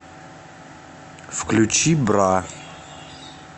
включи бра